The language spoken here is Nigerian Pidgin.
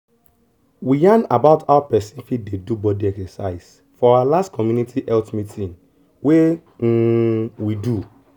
we yarn about how person fit dey do body exercise for our last community health meeting wey um we do.